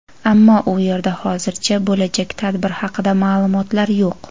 ammo u yerda hozircha bo‘lajak tadbir haqida ma’lumotlar yo‘q.